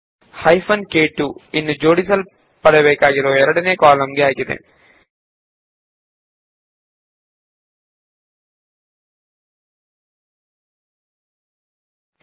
hyphen ಕ್2 ಎನ್ನುವುದು ವಿಂಗಡಣೆ ಮಾಡಬೇಕಾಗಿರುವ ಎರಡನೇ ಕಾಲಂ ಅನ್ನು ಸೂಚಿಸುತ್ತದೆ